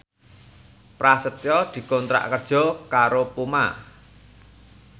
Prasetyo dikontrak kerja karo Puma